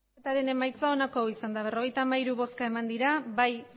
emandako botoak berrogeita hamairu bai